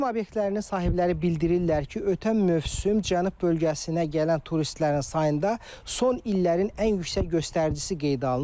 Turizm obyektlərinin sahibləri bildirirlər ki, ötən mövsüm Cənub bölgəsinə gələn turistlərin sayında son illərin ən yüksək göstəricisi qeydə alınıb.